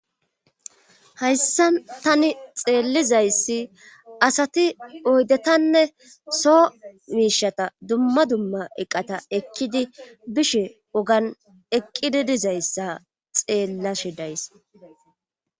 hayssa tani xeellizayssi asati oydetanne soo miishata dumma dumma eqqata ekkidi bishe wogan eqqidi dizayssa xeellashe days